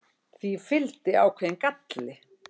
Því fylgdi ákveðinn galli.